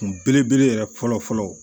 Kun belebele yɛrɛ fɔlɔ fɔlɔ